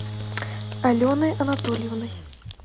аленой анатольевной